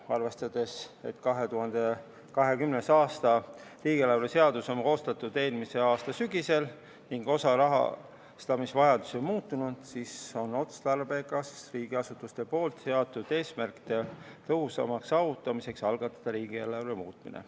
Arvestades, et 2020. aasta riigieelarve seadus on koostatud eelmise aasta sügisel ning osa rahastamisvajadusi on muutunud, on otstarbekas riigiasutuste seatud eesmärkide tõhusamaks saavutamiseks algatada riigieelarve muutmine.